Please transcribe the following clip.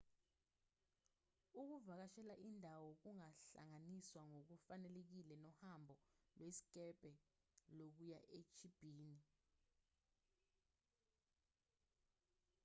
ukuvakashela indawo kungahlanganiswa ngokufanelekile nohambo lwesikebhe lokuya echibini